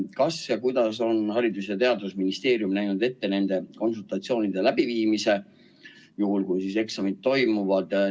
Kas ja kuidas on Haridus- ja Teadusministeerium näinud ette nende konsultatsioonide läbiviimise, juhul kui eksamid toimuvad?